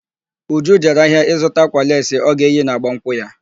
Uju jere ahịa ịzụta ákwà leesi ọ ga-eyi na agbamnkwụ ya.